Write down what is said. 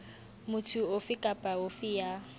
motho ofe kapa ofe ya